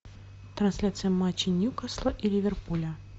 трансляция матча ньюкасла и ливерпуля